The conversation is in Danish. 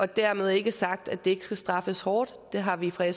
dermed er ikke sagt at det ikke skal straffes hårdt det har vi fra